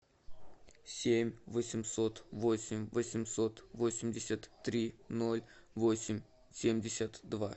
семь восемьсот восемь восемьсот восемьдесят три ноль восемь семьдесят два